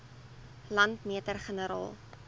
landmeter generaal